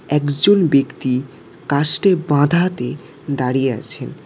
একজন ব্যক্তি কাসটে বাঁধাতে দাঁড়িয়ে আছে।